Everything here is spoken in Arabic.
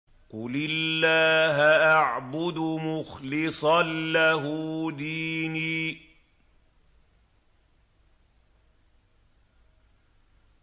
قُلِ اللَّهَ أَعْبُدُ مُخْلِصًا لَّهُ دِينِي